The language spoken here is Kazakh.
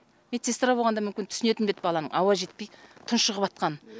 медсестра болғанда мүмкін түсінетін бе еді баланың ауа жетпей тұншығыватқанын